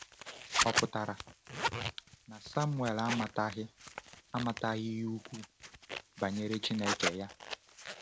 Ọ̀ pụtara na Samuel amataghị amataghị ihe ukwuu banyere Chineke ya?